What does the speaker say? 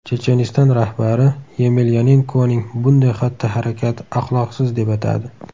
Checheniston rahbari Yemelyanenkoning bunday xatti-harakati axloqsiz deb atadi.